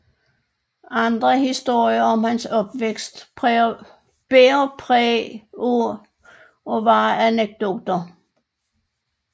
Andre historier om hans opvækst bærer præg af at være anekdoter